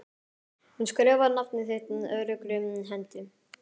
Hún skrifar nafnið sitt öruggri hendi.